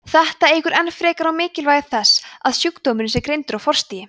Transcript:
þetta eykur enn frekar á mikilvægi þess að sjúkdómurinn sé greindur á forstigi